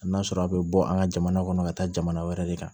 A n'a sɔrɔ a bɛ bɔ an ka jamana kɔnɔ ka taa jamana wɛrɛ de kan